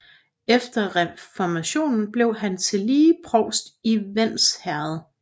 Efter reformationen blev han tillige provst i Vends Herred